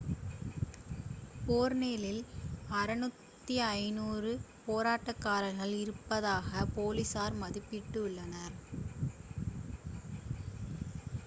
பெர்லினில் 6500 போராட்டகாரர்கள் இருப்பதாக போலீசார் மதிப்பிட்டு உள்ளனர்